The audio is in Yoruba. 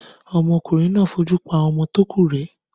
Ọmọkùnrin náà fojú pa àwọn ọmọ tó kù rẹ́.